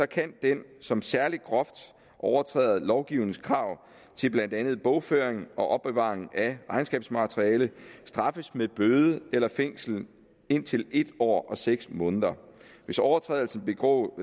kan den som særlig groft overtræder lovgivningens krav til blandt andet bogføring og opbevaring af regnskabsmateriale straffes med bøde eller fængsel indtil en år og seks måneder hvis overtrædelsen begås